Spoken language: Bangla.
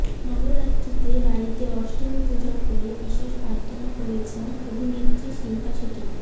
নবরাত্রিতে বাড়িতে অষ্টমী পূজা করে বিশেষ প্রার্থনা করেছেন অভিনেত্রী শিল্পা শেঠি